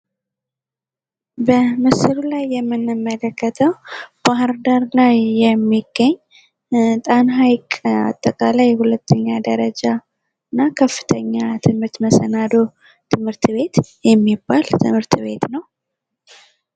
በምስሉ ላይ የምንመለከተው ባህር ዳር ላይ የሚገኝ ጣና ሀይቅ አጠቃላይ ሁለተኛ ደረጃ እና ከፍተኛ ትምህርት መሰናዶ ትምህርት ቤት የሚባል ትምህርት ቤት ነው ።